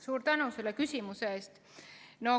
Suur tänu selle küsimuse eest!